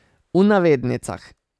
V navednicah.